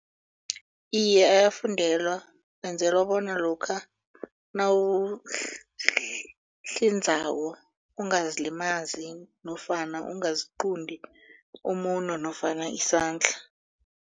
Iye, ayafundelwa benzelwa bona lokha nawuhlinzako ungazilimazi nofana ungaziqunti umuno nofana isandla.